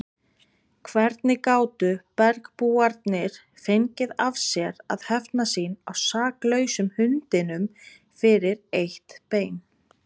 Hvernig gátu bergbúarnir fengið af sér að hefna sín á saklausum hundinum fyrir eitt bein!